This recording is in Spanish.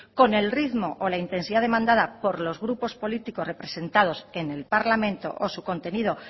con el ritmo o la intensidad demandada por los grupos políticos representados en el parlamento o su contenido